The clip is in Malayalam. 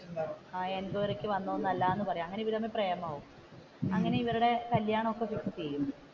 എൻകോയറി ക്ക് വന്നതല്ല എന്ന് പറയും അങ്ങനെ ഇവർ തമ്മിൽ പ്രേമം ആവും അങ്ങനെ ഇവരുടെ കല്യാണം ഒക്കെ ഫിക്സ് ചെയ്യും.